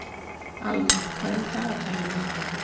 Allan, hvað er í dagatalinu mínu í dag?